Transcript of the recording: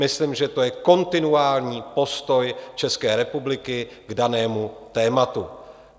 Myslím, že to je kontinuální postoj České republiky k danému tématu.